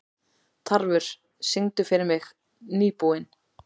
Tarfur, syngdu fyrir mig „Nýbúinn“.